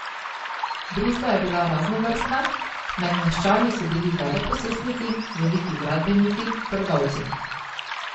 Družba je bila raznovrstna, med meščani so bili veleposestniki, veliki gradbeniki, trgovci.